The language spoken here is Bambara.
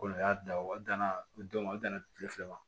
Kolon y'a dan o danna o don ma o danna kile fila ma